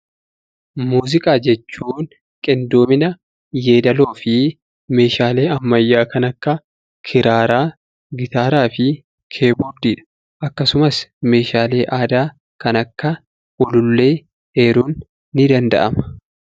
Muuziqaa jechuun qindoomina yeedaloo fi meeshaalee ammayyaa kan akka kiraaraa, gitaaraa fi kiboordiidha. Akkasumas meeshaalee aadaa kan akka ulullee eeruun ni danda'ama.